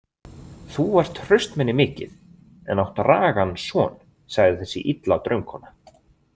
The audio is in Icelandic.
Þú ert hraustmenni mikið en átt ragan son, sagði þessi illa draumkona.